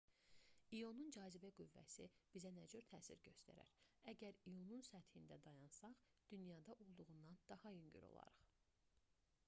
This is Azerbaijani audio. i̇onun cazibə qüvvəsi bizə nə cür təsir göstərər? əgər i̇onun səthində dayansaq dünyada olduğundan daha yüngül olarıq